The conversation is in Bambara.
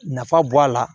Nafa bɔ a la